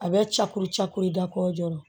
A bɛ coro ca koyi da ko joona